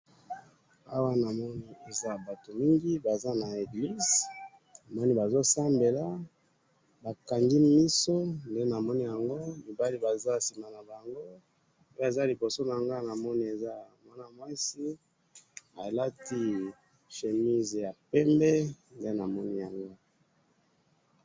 Awa namoni eza batu mingi, Baza na eglise, bazo sambela, bakangi miso, nde namoni yango, mibali Baza sima nabango oyo aza liboso nanga namoni aza mwana mwasi, alati chemise yapembe nde namoni yango